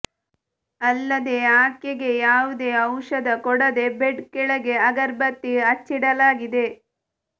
ಅಲ್ಲದೇ ಆಕೆಗೆ ಯಾವುದೇ ಔಷಧ ಕೊಡದೇ ಬೆಡ್ ಕೆಳಗೆ ಅಗರಬತ್ತಿ ಹಚ್ಚಿಡಲಾಗಿದೆ